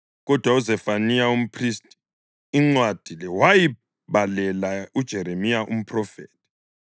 Kodwa, uZefaniya umphristi incwadi le wayibalela uJeremiya umphrofethi.